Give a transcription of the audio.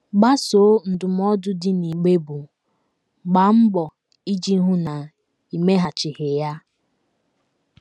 Gbasoo ndụmọdụ dị n’igbe bụ́, “ Gbaa Mbọ Iji Hụ na I Meghachighị Ya! ” Ya! ”